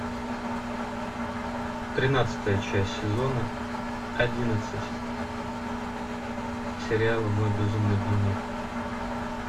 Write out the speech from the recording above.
тринадцатая часть сезона одиннадцать сериала мой безумный дневник